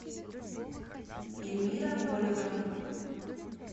эльмира голева